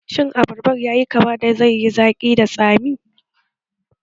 Shin Abarbar yayi kama da zaiyi zaƙi da tsami?